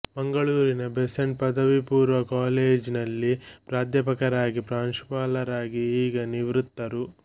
ಮಂಗಳೂರಿನ ಬೆಸೆಂಟ್ ಪದವಿಪೂರ್ವ ಕಾಲೇಜಿನಲ್ಲಿ ಪ್ರಾಧ್ಯಾಪಕರಾಗಿ ಪ್ರಾಂಶುಪಾಲರಾಗಿ ಈಗ ನಿವ್ರತ್ತರು